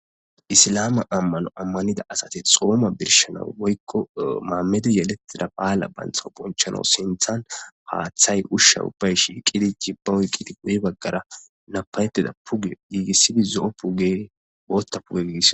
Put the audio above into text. isilame ammano ammanida asate xooma birshana woykko maammedi yelettida phaala bantha bonchalo sinthan paaththay ushsha ubbay shiiqidi jibba wuy qidi guye baggara napayettida puge yiigissidi zo7o puge wootta puge gigis